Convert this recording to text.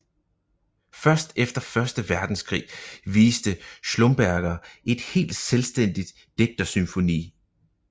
Først efter Første verdenskrig viste Schlumberger et helt selvstændigt digterfysiognomi